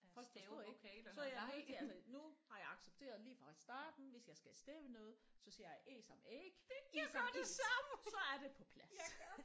Folk forstår ikke så er jeg nødt til altså nu har jeg accepteret lige fra starten hvis jeg skal stave noget så siger jeg Æ som æg I som is så er det på plads